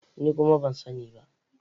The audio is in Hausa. Ni kuma ban sani ba.